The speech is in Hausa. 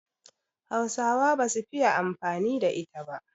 Hausawa ba su fiye amfani da ita ba